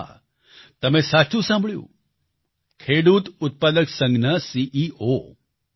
જી હાતમે સાચું સાંભળ્યું ખેડૂત ઉત્પાદક સંઘના સીઈઓ